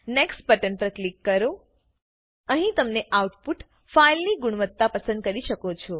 next button પર click કરો અહીં તમે આઉટપુટ ફાઈલની ગુણવત્તા પસંદ કરી શકો છો